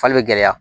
Fali bɛ gɛlɛya